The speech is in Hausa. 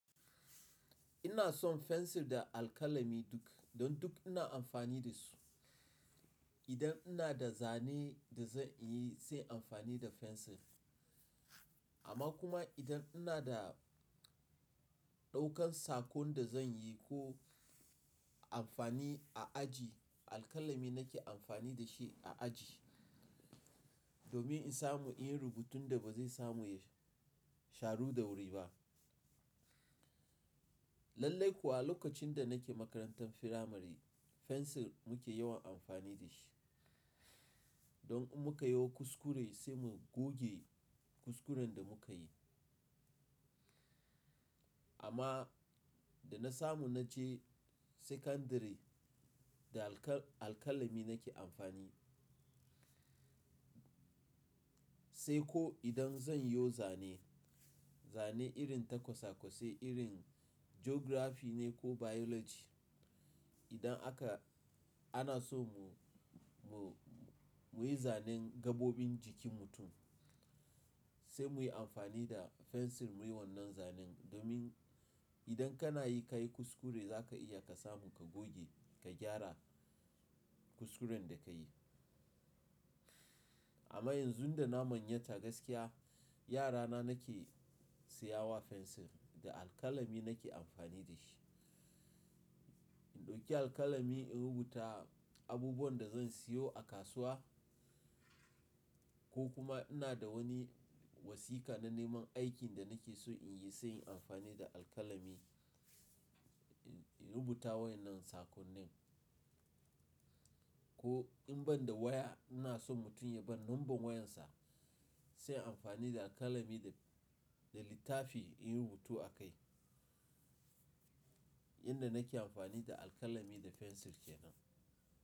Ina son fensir da alkalami duk, don duk ina amfani da su. Idan ina da zane da zan yi sai amfani da fensir. Amma kuma idan ina da ɗaukan saƙon da zan yi ko amfani a aji, alkalami nake amfani da shi a aji, domin in samu in rubuta da ba zai samu ya sharu da wuri ba. Lallai kuwa, lokacin da nake makarantar firamare fensir muke yawan amfani da shi. Don muka yo kuskure sai mu goge kuskuren da muka yi. Amma da na samu na je sekandare da alka-alkalami nake amfani. Sai ko idan zan yo zane, zane irin ta kwasa-kwasai, irin jografi ne ko bayoloji. Idan aka-- ana so mu-mu-muyi zanen gaɓoɓin jikin mutum, sai muyi amfani da fensir muyi wannan zanen domin idan kana yi ka yi kuskure za ka iya ka samu ka goge, ka gyara kuskuren da ka yi. Amma yanzu da na manyanta gaskiya, yarana nake siyawa fensir, da alkalami nake amfani da shi. In ɗauki alkalami in rubuta abubuwan da zan siyo a kasuwa ko kuma ina da wani wasiƙa na neman aikin da nake so in yi sai in yi amfani da alkalami. In rubuta wanan sakonnin ko in ban da waya ina son mutum ya bar number wayansa, sai in yi amfani da alkalami da, da littafi in rubutu a kai. Yanda nake amfani da alkalami da fensir kenan.